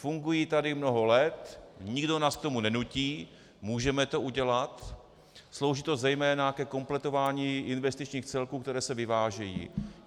Fungují tady mnoho let, nikdo nás k tomu nenutí, můžeme to udělat, slouží to zejména ke kompletování investičních celků, které se vyvážejí.